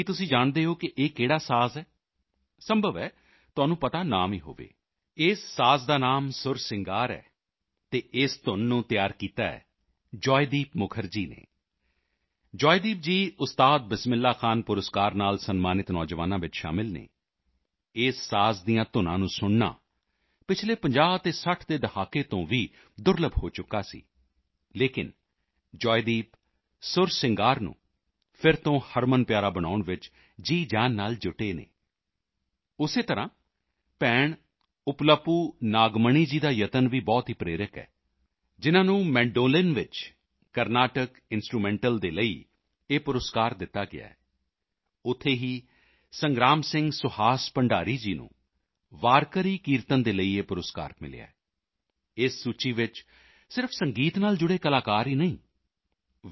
ਕੀ ਤੁਸੀਂ ਜਾਣਦੇ ਹੋ ਕਿ ਇਹ ਕਿਹੜਾ ਸਾਜ਼ ਹੈ ਸੰਭਵ ਹੈ ਤੁਹਾਨੂੰ ਪਤਾ ਨਾ ਵੀ ਹੋਵੇ ਇਸ ਸਾਜ਼ ਦਾ ਨਾਮ ਸੁਰ ਸਿੰਗਾਰ ਹੈ ਅਤੇ ਇਸ ਧੁੰਨ ਨੂੰ ਤਿਆਰ ਕੀਤਾ ਹੈ ਜੋਆਏਦੀਪ ਮੁਖਰਜੀ ਨੇ ਜੋਆਏਦੀਪ ਜੀ ਉਸਤਾਦ ਬਿਸਮਿਲ੍ਹਾ ਖਾਂ ਪੁਰਸਕਾਰ ਨਾਲ ਸਨਮਾਨਿਤ ਨੌਜਵਾਨਾਂ ਵਿੱਚ ਸ਼ਾਮਲ ਹਨ ਇਸ ਸਾਜ਼ ਦੀਆਂ ਧੁਨਾਂ ਨੂੰ ਸੁਣਨਾ ਪਿਛਲੇ 50 ਅਤੇ 60 ਦੇ ਦਹਾਕੇ ਤੋਂ ਵੀ ਦੁਰਲੱਭ ਹੋ ਚੁੱਕਿਆ ਸੀ ਲੇਕਿਨ ਜੋਆਏਦੀਪ ਸੁਰ ਸਿੰਗਾਰ ਨੂੰ ਫਿਰ ਤੋਂ ਹਰਮਨਪਿਆਰਾ ਬਣਾਉਣ ਵਿੱਚ ਜੀਅਜਾਨ ਨਾਲ ਜੁਟੇ ਹਨ ਉਸੇ ਤਰ੍ਹਾਂ ਭੈਣ ਉੱਪਲਪੂ ਨਾਗਮਣੀ ਜੀ ਦਾ ਯਤਨ ਵੀ ਬਹੁਤ ਹੀ ਪ੍ਰੇਰਕ ਹੈ ਜਿਨ੍ਹਾਂ ਨੂੰ ਮੈਂਡੋਲਿਨ ਵਿੱਚ ਕਾਰਨੈਟਿਕ ਇੰਸਟਰੂਮੈਂਟਲ ਦੇ ਲਈ ਇਹ ਪੁਰਸਕਾਰ ਦਿੱਤਾ ਗਿਆ ਹੈ ਉੱਥੇ ਹੀ ਸੰਗ੍ਰਾਮ ਸਿੰਘ ਸੁਹਾਸ ਭੰਡਾਰੀ ਜੀ ਨੂੰ ਵਾਰਕਰੀ ਕੀਰਤਨ ਦੇ ਲਈ ਇਹ ਪੁਰਸਕਾਰ ਮਿਲਿਆ ਹੈ ਇਸ ਸੂਚੀ ਵਿੱਚ ਸਿਰਫ਼ ਸੰਗੀਤ ਨਾਲ ਜੁੜੇ ਕਲਾਕਾਰ ਹੀ ਨਹੀਂ ਹਨ ਵੀ